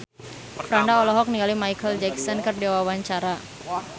Franda olohok ningali Micheal Jackson keur diwawancara